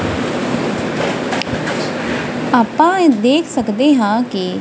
ਆਪਾਂ ਇਹ ਦੇਖ ਸਕਦੇ ਹਾਂ ਕਿ--